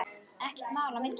Ekkert þar á milli.